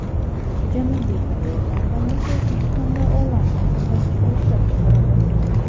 Janubiy Koreya kompaniyasi O‘zbekistonda onlayn hisoblagichlar ishlab chiqaradi.